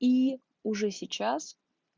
и уже сейчас